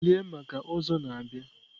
Bilie maka Ozo na bia!